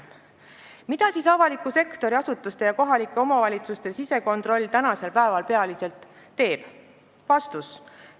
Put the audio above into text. Mida siis avaliku sektori asutuste ja kohalike omavalitsuste sisekontroll tänasel päeval peamiselt teeb?